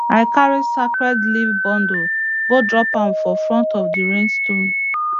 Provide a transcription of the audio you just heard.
i carry sacred leaf bundle go drop am for front of the rain stone